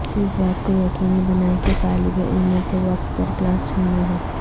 اس بات کو یقینی بنائیں کہ طالب علموں کو وقت پر کلاس چھوڑنا ہے